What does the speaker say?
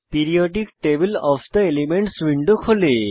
periodic table of the elements window খোলে